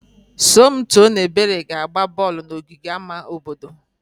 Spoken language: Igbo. Somto na Ebere na-agba bọọlụ n'ogige ama obodo.